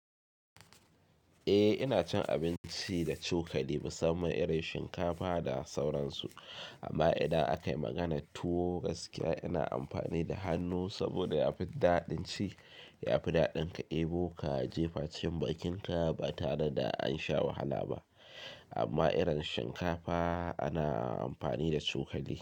Eh ina cin abinci da cokali musamman irin shinkafa da sauransu amma idan akayi maganar tuwo gaskiya ina amfani da hannu saboda yafi daɗin ci. Yafi daɗin ka ɗebo ka jefa cikin bakin ka ba tare da ansha wahala ba amma irin shinkafa ana amfani da cokali.